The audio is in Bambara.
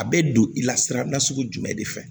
A bɛ don i la sira nasugu jumɛn de fɛ